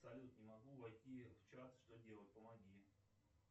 салют не могу войти в чат что делать помоги